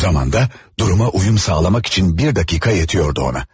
O zaman da duruma uyum sağlamaq üçün bir dəqiqə yetirdi ona.